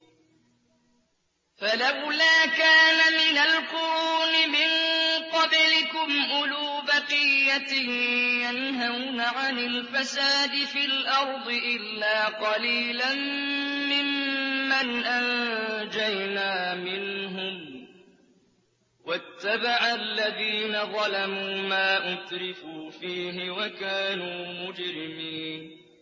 فَلَوْلَا كَانَ مِنَ الْقُرُونِ مِن قَبْلِكُمْ أُولُو بَقِيَّةٍ يَنْهَوْنَ عَنِ الْفَسَادِ فِي الْأَرْضِ إِلَّا قَلِيلًا مِّمَّنْ أَنجَيْنَا مِنْهُمْ ۗ وَاتَّبَعَ الَّذِينَ ظَلَمُوا مَا أُتْرِفُوا فِيهِ وَكَانُوا مُجْرِمِينَ